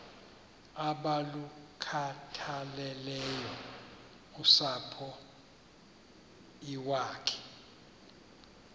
abalukhathaleleyo usapho iwakhe